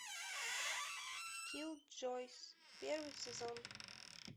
киллджойс первый сезон